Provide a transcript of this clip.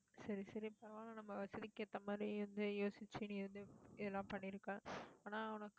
சரி, சரி பரவால்ல நம்ம வசதிக்கு ஏத்த மாதிரி வந்து, யோசிச்சு நீ வந்து, இதெல்லாம் பண்ணிருக்க. ஆஹ் ஆனா உனக்கு